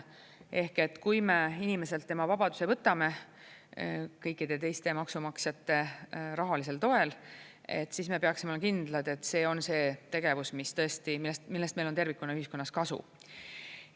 Ehk et kui me inimeselt tema vabaduse võtame kõikide teiste maksumaksjate rahalisel toel, siis me peaksime olema kindlad, et see on see tegevus, millest meil on tervikuna ühiskonnas kasu.